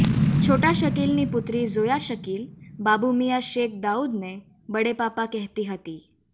છોટા શકીલની પુત્રી ઝોયા શકીલ બાબુમિયાં શેખ દાઉદને બડે પાપા કહેતી હતી